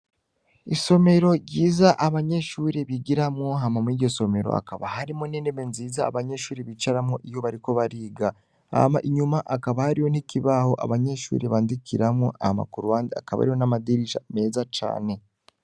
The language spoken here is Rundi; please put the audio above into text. Isomero ryiza abanyeshure bigiramwo hama mwiryo somero hakaba harimwo n' intebe nziza abanyeshure bicaramwo iyo bariko bariga, hama inyuma hakaba hariho n' ikibaho abanyeshure badikiramwo hama kuruhande hakaba hariho amadirisha meza cane.